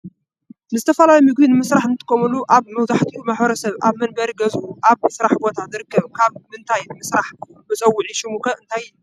ንዝተፈላልዩ ምግቢ ንምስራሕ እንጥቀመሉ ኣብ መብዛሕትኡ ማሕበረሰብ ኣብ መንበሪን ገዝኡን ኣብ ስራሕ ቦታ ዝርከብ ካብ ምንታይ ይስራሕ መፀውዒ ሽሙ ኸ እንታይ ይበሃል?